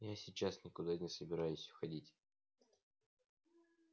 я сейчас никуда не собираюсь уходить